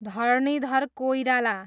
Dharanidhar Koirala